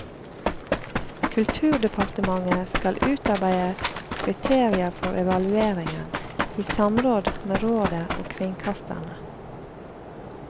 Kulturdepartementet skal utarbeide kriterier for evalueringen, i samråd med rådet og kringkasterne.